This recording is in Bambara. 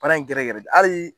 baara in gɛrɛ gɛrɛ de ali